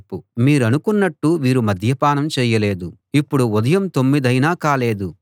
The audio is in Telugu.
మీరనుకున్నట్టు వీరు మద్యపానం చేయలేదు ఇప్పుడు ఉదయం తొమ్మిదయినా కాలేదు